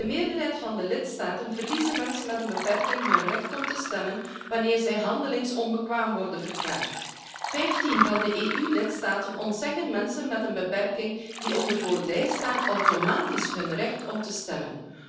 In de meerderheid van de lidstaten verliezen mensen met een beperking hun recht om te stemmen wanneer zij handelingsonbekwaam worden verklaard. Vijftien EU lidstaten ontzeggen mensen met een beperking die onder voogdij staan, automatisch hun recht om te stemmen.